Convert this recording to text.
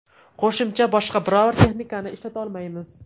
Qo‘shimcha boshqa biror texnikani ishlatolmaymiz.